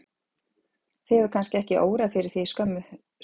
Þig hefur kannski ekki órað fyrir því fyrir skömmu síðan?